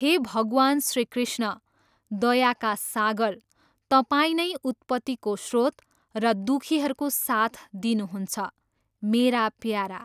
हे भगवान श्रीकृष्ण, दयाका सागर, तपाईँ नै उत्पतिको स्रोत र दुखीहरूको साथ दिनुहुन्छ, मेरा प्यारा!